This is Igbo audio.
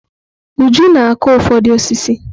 Uju na-akụ ụfọdụ osisi.